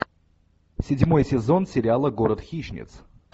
седьмой сезон сериала город хищниц